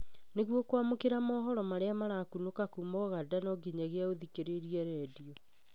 Nĩguo kwamũkĩra mohoro marĩa marakunũka kuma ũganda, no nginyagia ũthikĩrĩrie redio